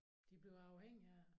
De bliver afhængig af det